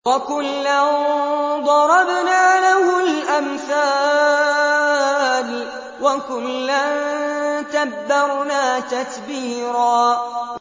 وَكُلًّا ضَرَبْنَا لَهُ الْأَمْثَالَ ۖ وَكُلًّا تَبَّرْنَا تَتْبِيرًا